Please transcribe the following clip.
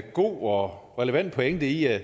god og relevant pointe i at